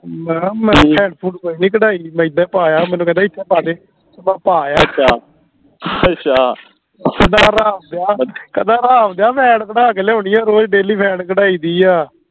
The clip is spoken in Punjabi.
ਮੈਂ ਕਿਹਾ ਮੈਂ ਫੈਂਟ ਫੂੰਟ ਕੋਈ ਨਹੀਂ ਕਢਾਈ ਗੀ ਮੈਂ ਇੱਦਾਂ ਹੀ ਪਾ ਆਇਆ ਮੈਨੂੰ ਕਹਿੰਦਾ ਸੀ ਇੱਦਾਂ ਹੀ ਪਾ ਦੇ ਤਾਂ ਮੈਂ ਪਾ ਆਇਆ ਇੱਦਾਂ ਅੱਛਾ ਅੱਛਾ ਕਹਿੰਦਾ ਹਰਾਮ ਦੀਆ ਕਹਿੰਦਾ ਹਰਾਮ ਦੀਆ ਫੈਂਟ ਕਢਾ ਕੇ ਲਿਆਉਣੀ ਆ ਰੋਜ daily ਫੈਂਟ ਕਢਾਈ ਦੀ ਆ